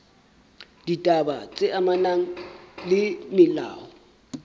ditaba tse amanang le molao